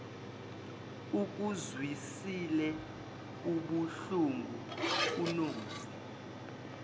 ikuzwisile ubuhlungu unozi